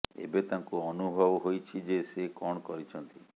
ଏବେ ତାଙ୍କୁ ଅନୁଭବ ହୋଇଛି ଯେ ସେ କଣ କରିଛନ୍ତି